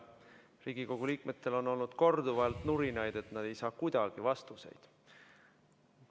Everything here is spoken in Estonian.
Riigikogu liikmetel on olnud korduvalt nurinaid, et nad ei saa kuidagi vastuseid.